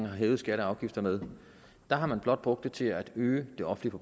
har hævet skatter og afgifter med har man blot brugt til at øge det offentlige